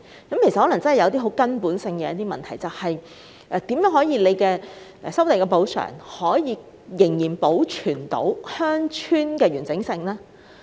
當中可能真的存在根本性問題，那便是政府進行收地補償時，如何能保存鄉村的完整性？